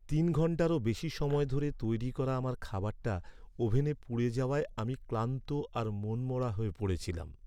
তিন ঘন্টারও বেশি সময় ধরে তৈরি করা আমার খাবারটা ওভেনে পুড়ে যাওয়ায় আমি ক্লান্ত আর মনমরা হয়ে পড়েছিলাম।